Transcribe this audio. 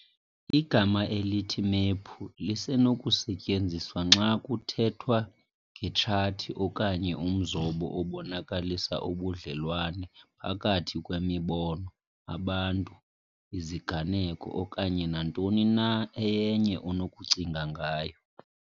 Igama elithi "mephu" lisenokusetyenziswa xa kuthethwa ngetshathi okanye umzobo obonakalisa ubudlelwane phakathi kwemibono, abantu, iziganeko, okanye nantoni na eyenye onokucinga ngayo.